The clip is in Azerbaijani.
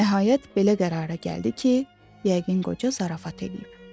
Nəhayət, belə qərara gəldi ki, yəqin qoca zarafat eləyib.